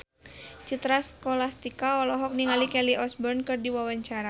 Citra Scholastika olohok ningali Kelly Osbourne keur diwawancara